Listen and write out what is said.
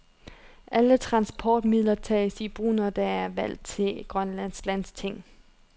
Alle transportmidler tages i brug, når der er valg til det grønlandske landsting.